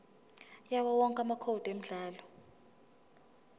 yawowonke amacode emidlalo